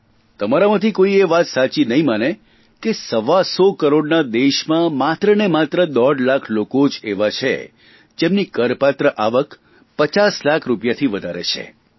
તમારામાંથી કોઇ એ વાત સાચી નહીં માને કે સવાસો કરોડના દેશમાં માત્રને માત્ર દોઢ લાખ લોકો એવા જ એવા છે જેમની કરપાત્ર આવક પચાસ લાખ રૂપિયાથી વધારે છે